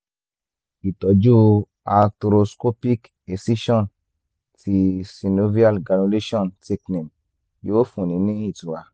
ìtọ́jú arthroscopic excision ti synovial granulation thickening yóò fúnni ní ìtura